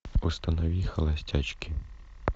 установи холостячки